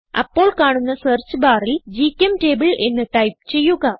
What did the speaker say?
അപ്പോൾ കാണുന്ന സെർച്ച് ബാറിൽ ഗ്ചെംറ്റബിൾ എന്ന് ടൈപ്പ് ചെയ്യുക